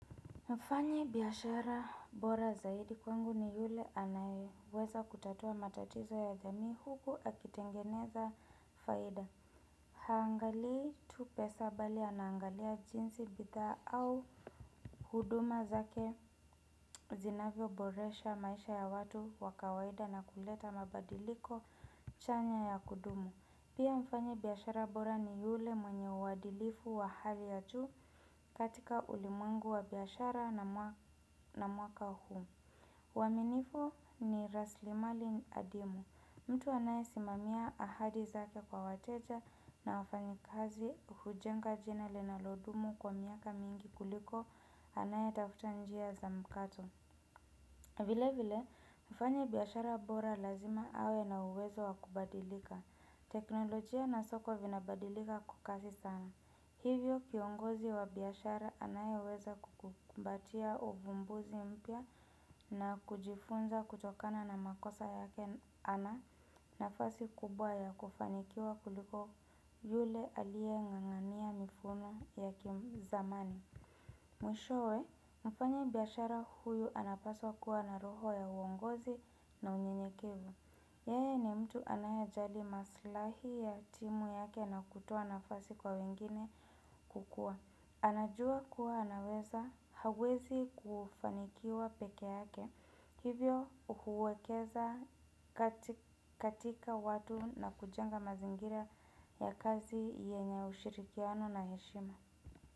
Mfanyibiashara bora zaidi kwangu ni yule anayeweza kutatua matatizo ya jamii huku akitengeneza faida. Haangali tu pesa bali anaangalia jinsi bidhaa au huduma zake zinavyoboresha maisha ya watu wa kawaida na kuleta mabadiliko chanya ya kudumu. Pia mfanyibiashara bora ni yule mwenye uadilifu wa hali ya juu katika ulimwengu wa biashara na mwaka huu. Uaminifu ni raslimali adimu. Mtu anayesimamia ahadi zake kwa wateja na wafanyikazi hujenga jina linalodumu kwa miaka mingi kuliko anayetafuta njia za mkato. Vile vile, mfanyibiashara bora lazima awe na uwezo wa kubadilika. Teknolojia na soko vinabadilika kwa kasi sana. Hivyo kiongozi wa biashara anayeweza kukumbatia uvumbuzi mpya na kujifunza kutokana na makosa yake ana nafasi kubwa ya kufanikiwa kuliko yule aling'ang'ania mifumo ya kimzamani. Mwishowe, mfanyibiashara huyu anapaswa kuwa na roho ya uongozi na unyenyekevu. Yeye ni mtu anayajali masilahi ya timu yake na kutoa nafasi kwa wengine kukua. Anajua kuwa anaweza, hawezi kufanikiwa pekee yake. Hivyo huwekeza katika watu na kujenga mazingira ya kazi yenye ushirikiano na heshima.